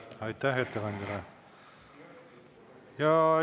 Aitäh ettekandjale!